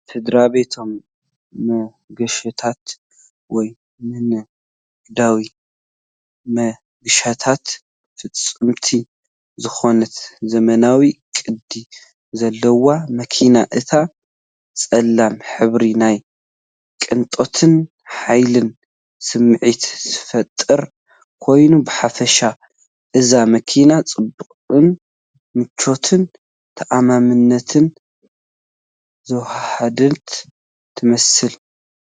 ንስድራቤታዊ መገሻታት ወይ ንንግዳዊ መገሻታት ፍጽምቲ ዝኾነት ዘመናውን ቅዲ ዘለዋን መኪና። እቲ ጸሊም ሕብሪ ናይ ቅንጦትን ሓይልን ስምዒት ዝፈጥር ኮይኑ። ብሓፈሻ እዛ መኪና ጽባቐን ምቾትን ተኣማንነትን ዘወሃሃደት ትመስል።